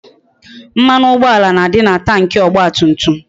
Mmanụ ụgbọala na-adị na Tanki ọgba tum tum